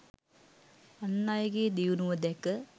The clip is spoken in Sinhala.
අන් අයගේ දියුණුව දැක